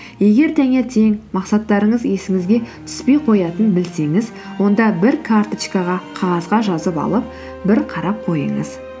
егер таңертең мақсаттарыңыз есіңізге түспей қоятынын білсеңіз онда бір карточкаға қағазға жазып алып бір қарап қойыңыз